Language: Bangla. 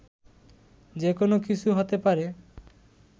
যে কোন কিছু হতে পারে